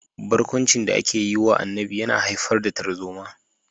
Barkwancin da ake yi wa Annabi yana haifar da tarzoma